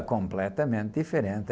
É, completamente diferente.